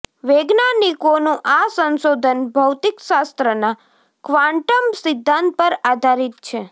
વૈજ્ઞાનિકોનું આ સંશોધન ભૌતિકશાસ્ત્રના ક્વાંટમ સિદ્ધાંત પર આધારીત છે